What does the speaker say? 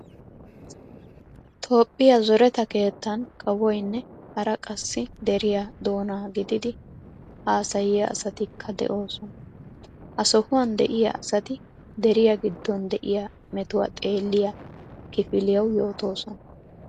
Toophphiya zoreta keettan kawoynne hara qassi deriyaa doona gididi haasayiyaa asatikka de'oosona. Ha sohuwan de"iyaa asati deriya giddon de"iya metuwa xeelliya kifiliyawu yootoosona.